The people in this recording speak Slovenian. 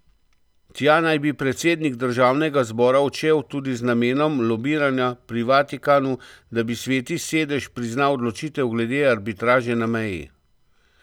Tja naj bi predsednik državnega zbora odšel tudi z namenom lobiranja pri Vatikanu, da bi Sveti sedež priznal odločitev glede arbitraže na meji.